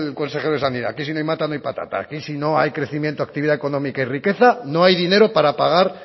consejero de sanidad que si no hay mata no hay patata que si no hay crecimiento actividad económica y riqueza no hay dinero para pagar